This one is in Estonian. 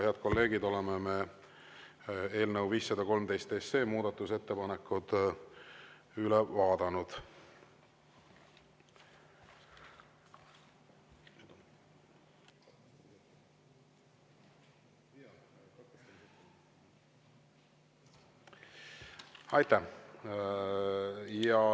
Head kolleegid, oleme eelnõu 513 muudatusettepanekud üle vaadanud.